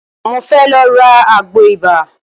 Mo fẹ́ lọ ra àgbò ibà.